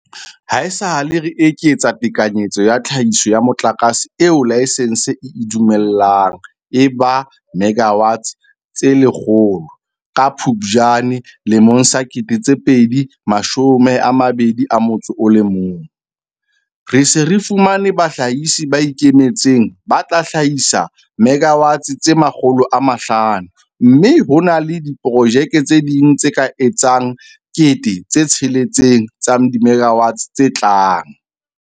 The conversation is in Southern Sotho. Haesale re eketsa tekanyetso ya tlhahiso ya motlakase eo laesense e e dumellang e ba 100 megawatts ka Phuptjane 2021, re se re fumane bahlahisi ba ikemetseng ba tla hlahisa 500 MW mme ho na le diprojeke tse ding tse ka etsang 6 000 MW tse tlang.